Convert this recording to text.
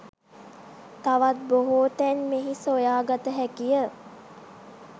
තවත් බොහෝ තැන් මෙහි සොයා ගත හැකිය